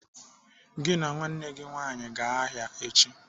"Gị na nwanne gị nwaanyị gaa ahịa echi!